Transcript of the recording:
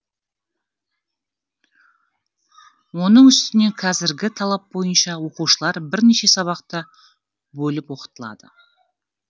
оның үстіне қазіргі талап бойынша оқушылар бірнеше сабақта бөліп оқытылады